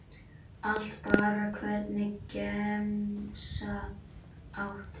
Allt bara Hvernig gemsa áttu?